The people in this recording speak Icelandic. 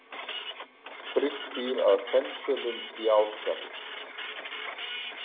Frigg býr að Fensölum í Ásgarði.